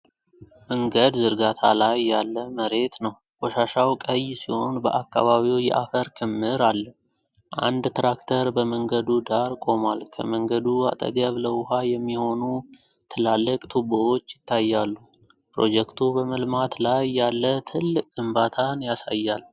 መንገድ ዝርጋታ ላይ ያለ መሬት ነው። ቆሻሻው ቀይ ሲሆን በአካባቢው የአፈር ክምር አለ። አንድ ትራክተር በመንገዱ ዳር ቆሟል። ከመንገዱ አጠገብ ለውሃ የሚሆኑ ትላልቅ ቱቦዎች ይታያሉ። ፕሮጀክቱ በመልማት ላይ ያለ ትልቅ ግንባታ ያሳያል።